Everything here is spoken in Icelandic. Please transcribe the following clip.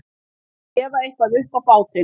Að gefa eitthvað upp á bátinn